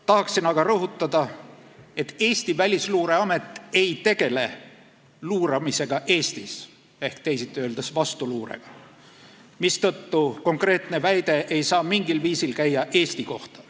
Tahan aga rõhutada, et Välisluureamet ei tegele Eestis luuramisega ehk teisiti öeldes vastuluurega, mistõttu konkreetne väide ei saa mingil viisil käia Eesti kohta.